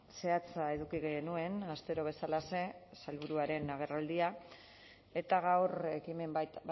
zehatza eduki genuen astero bezalaxe sailburuaren agerraldia eta gaur ekimen bat